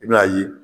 I bɛn'a ye